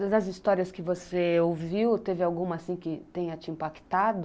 Das histórias que você ouviu, teve alguma que tenha te impactado?